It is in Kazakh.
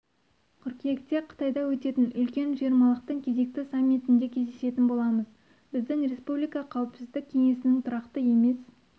қыркүйекте қытайда өтетін үлкен жиырмалықтың кезекті саммитінде кездесетін боламыз біздің республика қауіпсіздік кеңесінің тұрақты емес